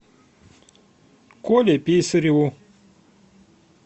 коле писареву